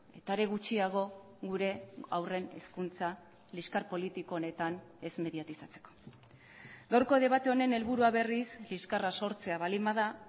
eta are gutxiago gure aurren hizkuntza liskar politiko honetan ez mediatizatzeko gaurko debate honen helburua berriz liskarra sortzea baldin bada